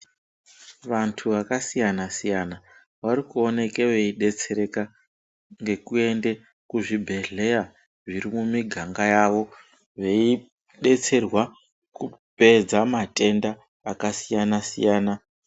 Vanhu vakasiyana siyana varikuoneke veidetsereka ngekuenda kuzvibhedhlera zviri mumiganga yavo veidetserwe kupedza matenda akasiyana siyana.